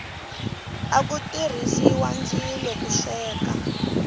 aku tirhisiwa ndzilo ku sweka